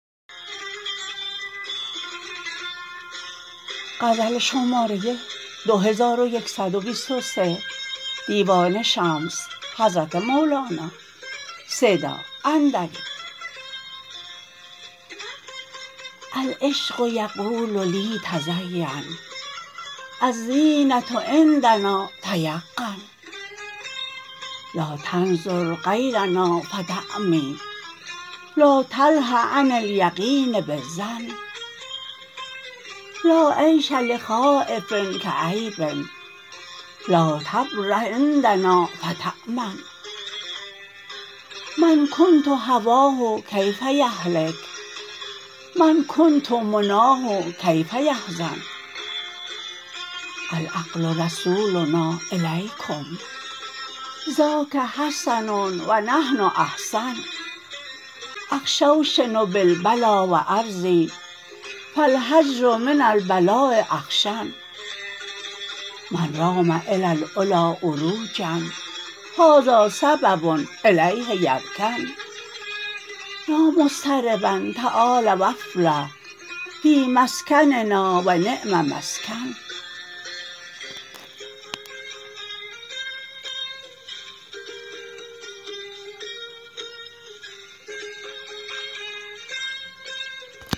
العشق یقول لی تزین الزینه عندنا تیقن لا تنظر غیرنا فتعمی لا تله عن الیقین بالظن لا عیش لخایف کییب لا تبرح عندنا فتامن من کنت هواه کیف یهلک من کنت مناه کیف یحزن العقل رسولنا الیکم ذاک حسن و نحن احسن اخشوشن بالبلا و ارضی فالهجر من البلاء اخشن من رام الی العلی عروجا هذا سبب الیه یرکن یا مضطربا تعال و افلح فی مسکننا و نعم مسکن